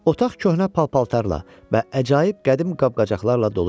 Otaq köhnə paltarlarla və əcaib qədim qab-qacaqlarla dolu idi.